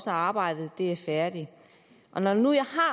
når arbejdet er færdigt når nu jeg